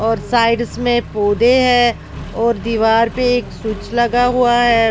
और साइड्स में पौधे है और दीवार पे एक स्विच लगा हुआ है।